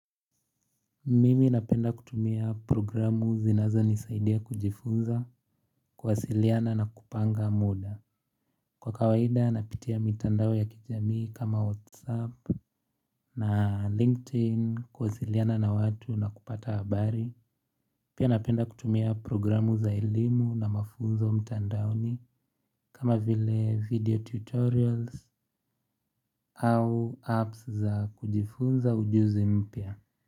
Mimi napenda kutumia programu zinazonisaidia kujifunza kuwasiliana na kupanga mda Kwa kawaida napitia mitandao ya kijamii kama whatsapp na linkedin kuwasiliana na watu na kupata habari Pia napenda kutumia programu za elimu na mafunzo mtandaoni kama vile video tutorials au apps za kujifunza ujuzi mpya.